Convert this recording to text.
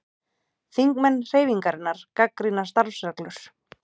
Þingmenn Hreyfingarinnar gagnrýna starfsreglur